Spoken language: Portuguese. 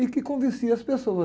E que convencia as pessoas.